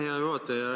Aitäh, hea juhataja!